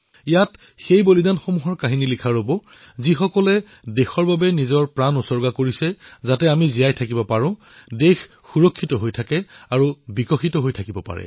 এয়া সেই বলিদানীসকলৰ কাহিনী যিয়ে দেশৰ বাবে নিজৰ প্ৰাণ উচৰ্গা কৰিছে যাতে আমি জীৱিত থাকিব পাৰো দেশ সুৰক্ষিত হৈ থাকিব পাৰে আৰু বিকশিত হব পাৰে